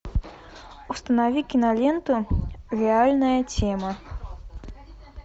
установи киноленту реальная тема